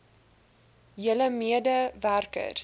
julle mede werkers